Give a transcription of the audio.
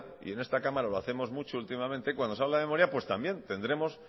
y en esta cámara lo hacemos mucho últimamente cuando se habla de memoria también tendremos